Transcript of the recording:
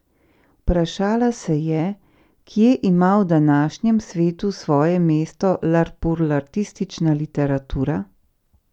Vprašala se je, kje ima v današnjem svetu svoje mesto larpurlartistična literatura?